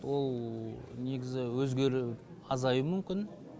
ол негізі өзеріп азаюы мүмкін